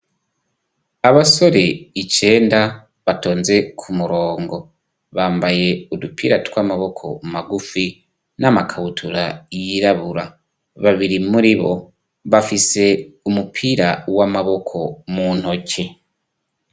Abasore icenda batonze ku murongo bambaye udupira tw'amaboko magufi n'amakabutura yirabura babiri muribo bafise umupira w'amaboko mu ntoke.